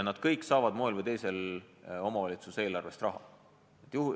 Nad kõik saavad moel või teisel omavalitsuse eelarvest raha.